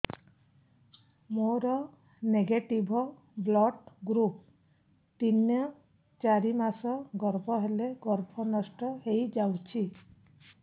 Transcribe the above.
ମୋର negative blood group ତିନ ଚାରି ମାସ ଗର୍ଭ ହେଲେ ଗର୍ଭ ନଷ୍ଟ ହେଇଯାଉଛି